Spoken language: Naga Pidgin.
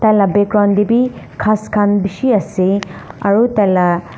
la background dae bi kas kan bishi ase aro tai la.